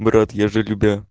брат я же любя